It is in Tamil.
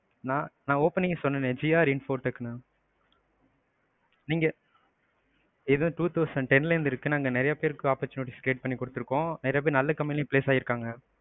நான், நான் opening லையே சொன்னேன்னே gr infotech mam நீங்க இது two thousand ten ல இருந்து இருக்கு. நாங்க நிறையா பேருக்க opportunities create பண்ணிக்குடுத்துருக்கோம். நிறையா பேர் நல்ல company லையும் place ஆகிருக்கங்க.